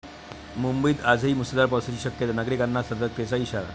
मुंबईत आजही मुसळधार पावसाची शक्यता, नागरिकांना सतर्कतेचा इशारा